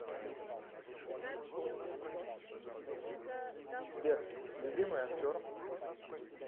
сбер любимый актер